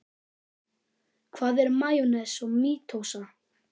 Hvað er meiósa og mítósa?